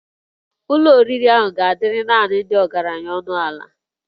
Ụlọ oriri ahụ ga-adịrị naanị ndị ọgaranya ọnụ ala